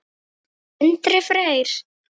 Sindri Freyr.